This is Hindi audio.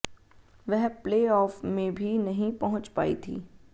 वह प्लेऑफ में भी नहीं पहुंच पाई थी